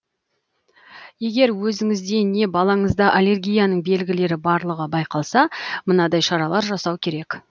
егер өзіңізде не балаңызда аллергияның белгілері барлығы байқалса мынадай шаралар жасау керек